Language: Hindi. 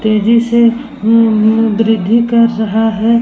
तेजी से अम-अ वृद्धि कर रहा है।